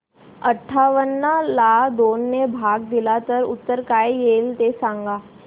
अठावन्न ला दोन ने भाग दिला तर उत्तर काय येईल ते सांगा